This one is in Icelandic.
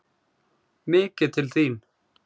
MIKIÐ TIL ÞÍN!